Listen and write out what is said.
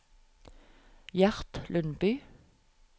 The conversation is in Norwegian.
Gjert Lundby